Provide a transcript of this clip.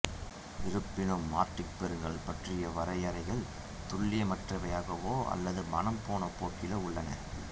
இருப்பினும் ஆர்க்டிக் பெருங்கடல் பற்றிய வரையறைகள் துல்லியமற்றவையாகவோ அல்லது மனம் போன போக்கிலோ உள்ளன